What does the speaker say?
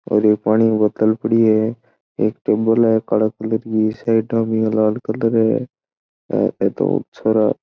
और ये पानी बॉटल पड़ी है एक टेबल है काले कलर की साइड में लाल कलर है ये दो छोरा --